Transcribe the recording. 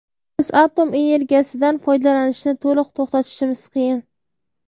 Biz atom energiyasidan foydalanishni to‘liq to‘xtatishimiz qiyin.